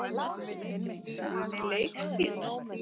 Sami leikstíll?